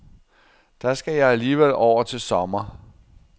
Der skal jeg alligevel over til sommer.